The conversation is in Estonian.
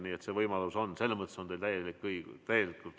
Nii et see võimalus on, selles mõttes on teil täielikult õigus.